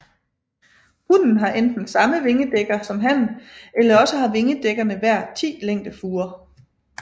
Hunnen har enten samme vingedækker som hannen eller også har vingerdækkerne hver 10 længdefurer